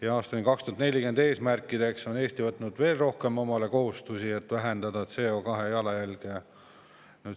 Ja aastani 2040 seatud eesmärkide on Eesti võtnud endale veel rohkem kohustusi, et vähendada CO2 jalajälge.